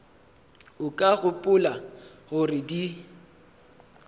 o ka gopola gore di